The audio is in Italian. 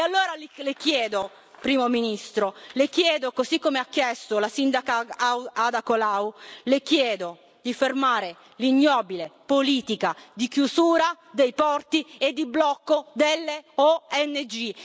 E allora che le chiedo, Primo ministro, così come ha chiesto la sindaca Ada Colau, di fermare l'ignobile politica di chiusura dei porti e di blocco delle ONG.